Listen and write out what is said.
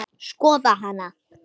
Skoða hana?